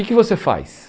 O que que você faz?